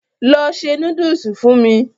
Lọ se núdùsù fún mu.